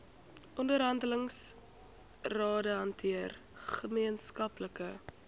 onderhandelingsrade hanteer gemeenskaplike